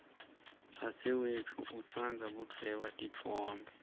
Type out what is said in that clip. dzadzewetfu utsandza kudvweba titfombe